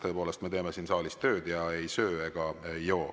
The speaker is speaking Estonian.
Tõepoolest, me teeme siin saalis tööd ja ei söö ega joo.